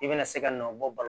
I bɛna se ka nɔ bɔ ba la